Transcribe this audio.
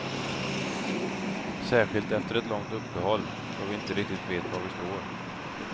Särskilt efter ett långt uppehåll, då vi inte riktigt vet var vi står.